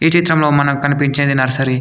ఈ చిత్రంలో మనకు కనిపించేది నర్సరీ .